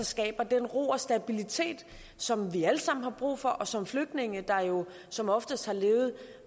skaber den ro og stabilitet som vi alle sammen har brug for og som flygtninge der jo som oftest har levet